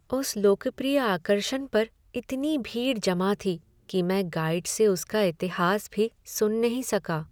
उस लोकप्रिय आकर्षण पर इतनी भीड़ जमा थी कि मैं गाइड से उसका इतिहास भी सुन नहीं सका।